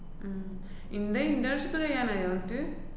ഇന്‍റെ internship കഴിയാനായോ എന്നിട്ട്?